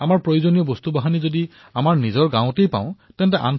আমাৰ প্ৰয়োজনৰ সামগ্ৰী যদি গাঁৱতেই পাও তেন্তে তহচীললৈ যোৱাৰ কোনো প্ৰয়োজন নাই